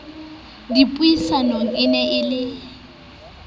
dipuisanong e ne e le